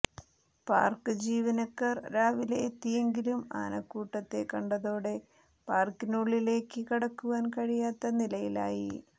park ജീവനക്കാർ രാവിലെ എത്തിയെങ്കിലും ആനക്കൂട്ടത്തെ കണ്ടതോടെ പാർക്കിനുള്ളിലേക്ക് കടക്കുവാൻ കഴിയാത്ത നിലയിലായി